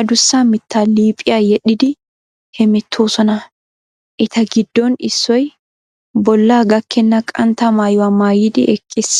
adussa mittaa liiphiya yedhdhidi hemettoosona. Eta giddon issoy bollaa gakkenna qantta maayuwa maayidi eqqiis.